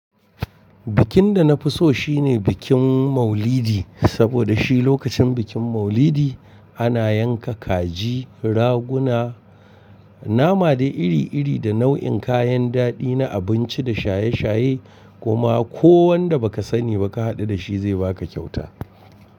Bikin da na fi so shine bikin Maulidi, saboda shi lokacin bikin Maulidi ana yanka kaji, raguna, nama da iri-iri da nau'in kayan daɗi na abinci da shaye-shaye, kuma ko wanda baka sani baka haɗu da shi zai baka kyauta.